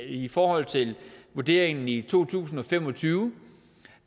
i forhold til vurderingen i to tusind og fem og tyve